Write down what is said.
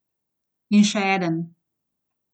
In še eden.